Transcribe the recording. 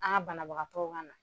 An ka banabagatɔw kan na.